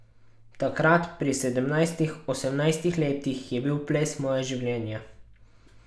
Takrat, pri sedemnajstih, osemnajstih letih je bil ples moje življenje.